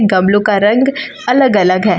गमलों का रंग अलग अलग है।